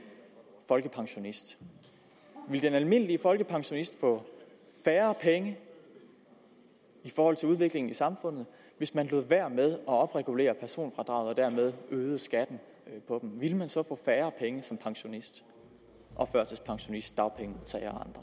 folkepensionist ville den almindelige folkepensionist få færre penge i forhold til udviklingen i samfundet hvis man lod være med at opregulere personfradraget og dermed øgede skatten ville man så få færre penge som pensionist førtidspensionist og dagpengemodtager og